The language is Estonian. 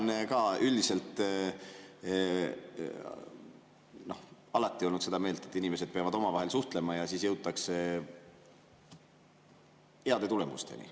Mina olen ka üldiselt alati olnud seda meelt, et inimesed peavad omavahel suhtlema ja siis jõutakse heade tulemusteni.